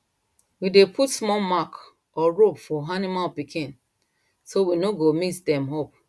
we dey put small mark or rope for animal pikin so we no go mix dem up